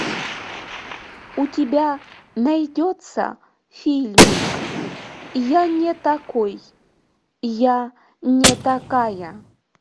у тебя найдется фильмик я не такой я не такая